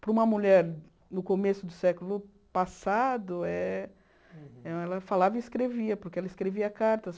Para uma mulher no começo do século passado, eh ela falava e escrevia, porque ela escrevia cartas.